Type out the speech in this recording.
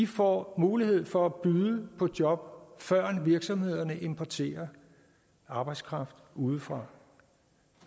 får mulighed for at byde på job førend virksomhederne importerer arbejdskraft udefra